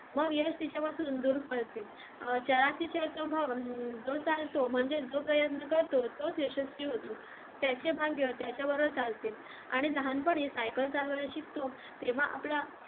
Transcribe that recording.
मग यश तिच्यापासून दूर पळते जो चालतो म्हणजेच जो प्रयत्न करतो तोच यशस्वी होतो त्याचे भाग्य त्याच्यावरच असते आणि लहानपणी cycle चालवायला शिकतो तेव्हा आपला